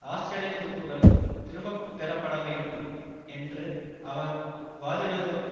ஆஸ்திரேலிய துருப்புக்கள் திரும்பப்பெறப்பட வேண்டும் என்று அவர் வாதிடுவதற்கு